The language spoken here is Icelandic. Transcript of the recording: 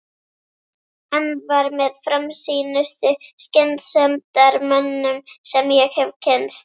Hann var með framsýnustu skynsemdarmönnum sem ég hef kynnst.